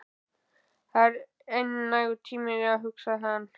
Það er enn nægur tími, hugsaði hann.